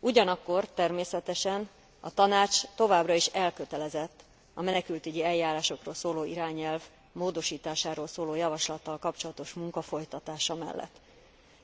Ugyanakkor természetesen a Tanács továbbra is elkötelezett a menekültügyi eljárásokról szóló irányelv módosításáról szóló javaslattal kapcsolatos munka folytatása mellett,